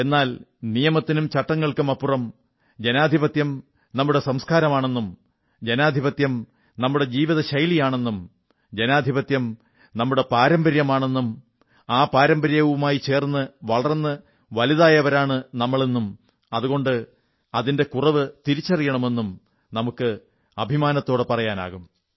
എന്നാൽ നിയമത്തിനും ചട്ടങ്ങൾക്കുമപ്പുറം ജനാധിപത്യം നമ്മുടെ സംസ്കാരമാണെന്നും ജനാധിപത്യം നമ്മുടെ ജീവിതശൈലിയാണെന്നും ജനാധിപത്യം നമ്മുടെ പാരമ്പര്യമാണെന്നും ആ പാരമ്പര്യവുമായി ചേർന്ന് വളർന്നു വലുതായവരാണു നമ്മളെന്നും അതുകൊണ്ട് അതിന്റെ കുറവ് തിരിച്ചറിയുമെന്നും നമുക്ക് അഭിമാനത്തോടെ പറയാനാകും